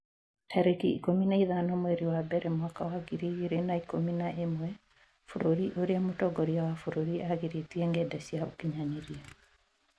tarĩki ikũmi na ithano mweri wa mbere mwaka wa ngiri igĩrĩ na ikũmi na ĩmwe Bũrũri ũrĩa mũtongoria wa bũrũri aagirĩtie ngenda cia ũkinyanĩria